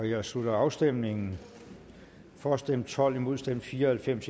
jeg slutter afstemningen for stemte tolv imod stemte fire og halvfems